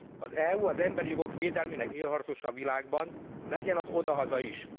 Az EU az emberi jogok védelmének élharcosa a világban, legyen az odahaza is!